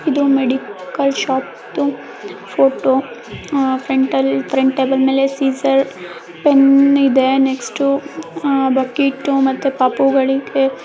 ಇದು medical shop ದು photo ah front ಲಿ ಫ್ರಂಟ್ ಟೇಬಲ್ ಮೇಲೆ ಸೀಸರ್ ಪೆನ್ ಇದೆ ನೆಕ್ಸ್ಟ್ ಬಕೆಟು ಮತ್ತು ಪಾಪುಗಳಿಗೆ --